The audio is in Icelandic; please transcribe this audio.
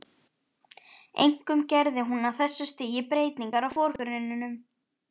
Einkum gerði hún á þessu stigi breytingar á forgrunninum.